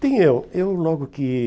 tem eu. Eu, logo que